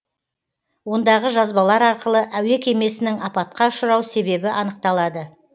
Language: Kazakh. ондағы жазбалар арқылы әуе кемесінің апатқа ұшырау себебі анықталады